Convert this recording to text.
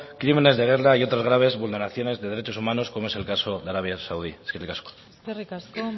crímenes de guerra y otras graves vulneraciones de derechos humanos como es el caso de arabia saudí eskerrik asko eskerrik asko